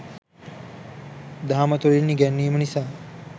දහම තුළින් ඉගැන්වීම නිසා